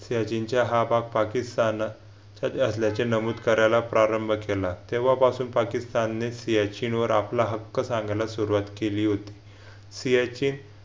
चीनच्या हा भाग पाकिस्तान असल्याचे नमूद करायला प्रारंभ केला तेव्हापासून पाकिस्तानने चीनवर आपला हक्क सांगायला सुरुवात केली होती फियाचे